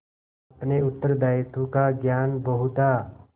अपने उत्तरदायित्व का ज्ञान बहुधा